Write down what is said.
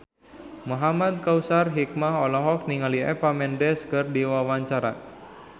Muhamad Kautsar Hikmat olohok ningali Eva Mendes keur diwawancara